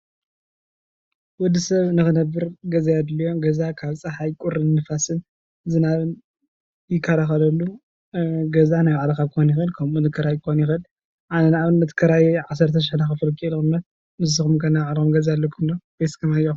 ወዲ ሰብ ንክነብር ገዛ የድልዮ። ገዛ ካብ ፅሓይ፣ ቁርን ፣ንፋስን ዝናብን ይከላከለሉ። ገዛ ናይ ባዕልኻ ኽኸውን ይክእል ከምኡእውን ክራይ ክከውን ይክእል። ኣነ ንኣብነት ክራይ ዓሰርተ ሹሕ እናከፈልኩ እየ ዝቅመጥ። ንስኹም ከ ናይ ባዕልኩም ገዛ ኣለኩም ዶ ወይስ ከማይ ኢኹም?